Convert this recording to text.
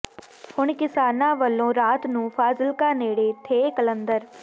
ਹੁਣ ਕਿਸਾਨਾਂ ਵੱਲੋਂ ਰਾਤ ਨੂੰ ਫਾਜ਼ਿਲਕਾ ਨੇੜੇ ਥੇਹ ਕਲੰਦਰ